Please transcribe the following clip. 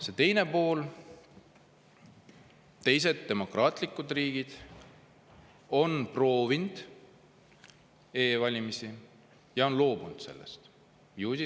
Ja teine pool: teised demokraatlikud riigid on proovinud e-valimisi ja on nendest loobunud.